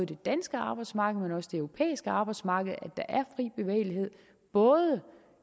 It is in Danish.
det danske arbejdsmarked men også det europæiske arbejdsmarked både